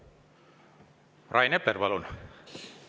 Rain Epler, palun!